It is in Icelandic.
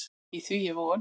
Í því er von.